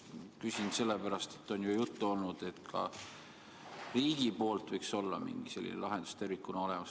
Küsin sellepärast, et on ju juttu olnud, et ka riik võiks mingi sellise lahenduse tervikuna luua.